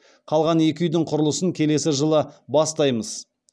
қалған екі үйдің құрылысын келесі жылы бастаймыз